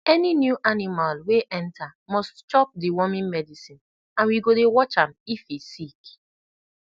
any new animal wey enter must chop deworming medicine and we go dey watch am if e sick